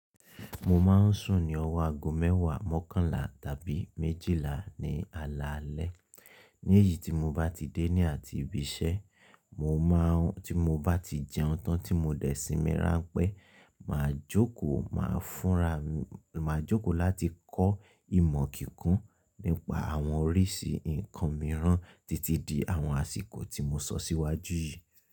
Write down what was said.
Mo ma ń sùn ní ọwo ago mẹ́wàá mọ́kànlá tàbí mejìlá ní alalẹ́. Ní èyí tí mo bá ti dé ní àtí ibi iṣẹ́, tí mo bá ti jẹun tán tí mo dẹ̀ sí mí ràn pẹ́, màá jókòó, màá fúnrami màá jókòó láti kọ́ ìmọ̀ kìkún nípa àwọn oríṣìí nǹkan mìíràn títí di àwọn àsìkò tí mo sọ síwájú yìí.